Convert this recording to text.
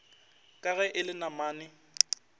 ka ge e le namane